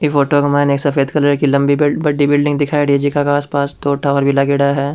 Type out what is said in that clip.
ये फोटो में मई ने एक सफ़ेद रंग की बड़ी बिल्डिंग दिखायेदि है जेका के आसपास दो टावर भी लगायेदा है।